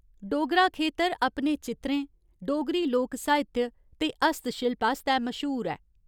डोगरा खेतर अपने चित्रें, डोगरी लोक साहित्य ते हस्तशिल्प आस्तै मश्हूर ऐ।